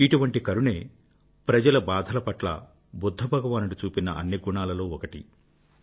ఇటువంటి కరుణే ప్రజల బాధల పట్ల బుధ్ధ భగవానుడు చూపిన అన్ని గొప్ప గుణాలలో ఒకటి